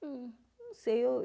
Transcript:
Hum, não sei, eu